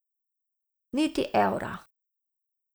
Niti evra.